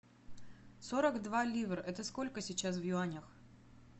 сорок два ливра это сколько сейчас в юанях